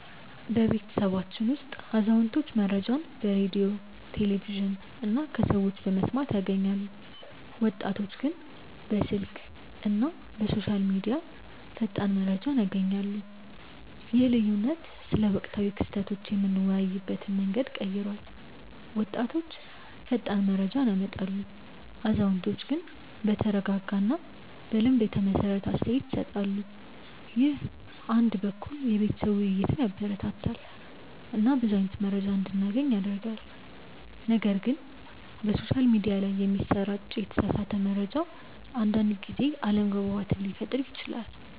በቤተሰባችን ውስጥ አዛውንቶች መረጃን በሬዲዮ፣ ቴሌቪዥን እና ከሰዎች በመስማት ያገኛሉ፣ ወጣቶች ግን በስልክ እና በሶሻል ሚዲያ ፈጣን መረጃ ያገኛሉ። ይህ ልዩነት ስለ ወቅታዊ ክስተቶች የምንወያይበትን መንገድ ቀይሯል፤ ወጣቶች ፈጣን መረጃ ያመጣሉ፣ አዛውንቶች ግን በተረጋጋ እና በልምድ የተመሰረተ አስተያየት ይሰጣሉ። ይህ አንድ በኩል የቤተሰብ ውይይትን ያበረታታል እና ብዙ አይነት መረጃ እንዲገናኝ ያደርጋል፣ ነገር ግን በሶሻል ሚዲያ ላይ የሚሰራጭ የተሳሳተ መረጃ አንዳንድ ጊዜ አለመግባባት ሊፈጥር ይችላል